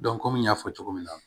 komi n y'a fɔ cogo min na